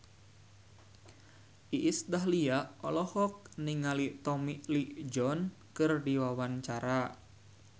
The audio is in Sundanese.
Iis Dahlia olohok ningali Tommy Lee Jones keur diwawancara